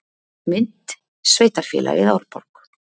Mynd: Sveitarfélagið Árborg.